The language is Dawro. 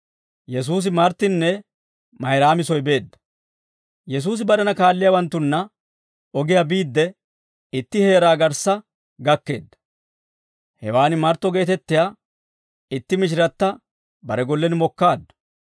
Yesuusi barena kaalliyaawanttunna ogiyaa biidde, itti heeraa garssa gakkeedda. Hewaan Martto geetettiyaa itti mishiratta bare gollen mokkaaddu.